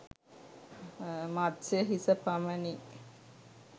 මත්ස්‍ය හිස පමණි.